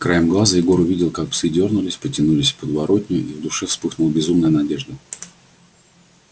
краем глаза егор увидел как псы дёрнулись потянулись в подворотню и в душе вспыхнул безумная надежда